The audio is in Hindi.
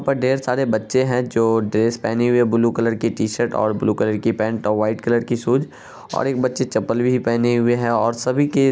ढेर सारे बच्चे हैं जो ड्रेस पहने हुए हैं ब्लू कलर की टीशर्ट और ब्लू कलर की पैंट और व्हाइट कलर की शूज और एक बच्चे चप्पल भी नहीं पहने हुए हैं और सभी के --